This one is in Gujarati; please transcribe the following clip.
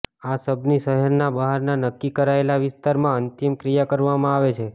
આ શબની શહેરના બહારના નક્કી કરાયેલા વિસ્તારમાં અંતિમ ક્રિયા કરવામાં આવે છે